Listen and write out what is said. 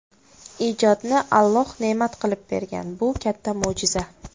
Ijodni Alloh ne’mat qilib bergan, bu katta mo‘jiza.